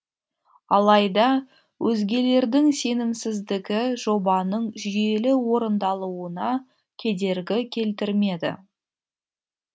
алайда өзгелердің сенімсіздігі жобаның жүйелі орындалуына кедергі келтірмеді